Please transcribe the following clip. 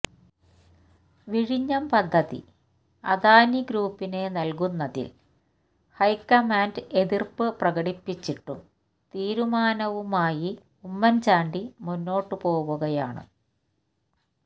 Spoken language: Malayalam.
വിഴിഞ്ഞം പദ്ധതി അദാനി ഗ്രൂപ്പിന് നല്കുന്നതില് ഹൈക്കമാന്റ് എതിര്പ്പ് പ്രകടിപ്പിച്ചിട്ടും തീരുമാനവുമായി ഉമ്മന്ചാണ്ടി മുന്നോട്ടുപോകുകയാണ്